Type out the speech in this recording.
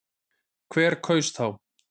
Hver kaus þá?